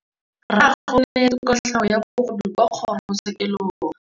Rragwe o neetswe kotlhaô ya bogodu kwa kgoro tshêkêlông.